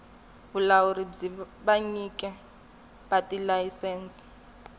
vulawuri bya vanyiki va tilayisense